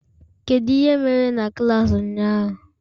Kedu ihe mere na klas ụnyaahụ?